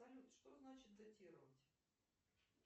салют что значит датировать